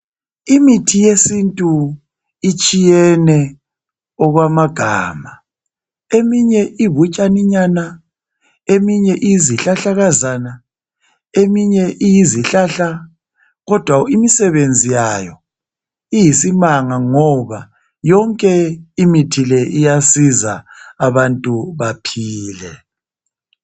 Imithi yesintu itshiyene okwamagama. Eminye ibutshaninyana, eminye iyizihlahlakazana, eminye iyizihlahla kodwa imisebenzi yayo iyisimanga ngoba yonke imithi le iyasiza abantu baphile.